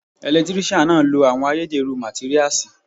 Ẹ̀lẹ́tíríṣiàn náà lo àwọn ayédẹ̀rú màtíríasì.